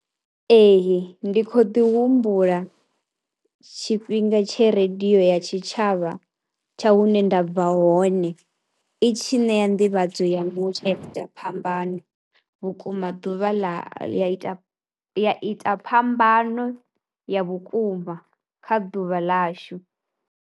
Ee ndi khou ḓi humbula tshifhinga tshe radio ya tshitshavha tsha hune nda bva hone i tshi ṋea nḓivhadzo ya mutsho ye ya ita phambano vhukuma ḓuvha ḽa ita ita phambano ya vhukuma kha ḓuvha ḽashu.